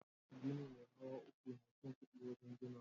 Gini me hawa uku na cin kudi wajen ginawa.